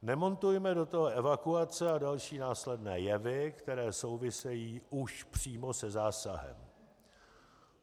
Nemontujme do toho evakuace a další následné jevy, které souvisejí už přímo se zásahem.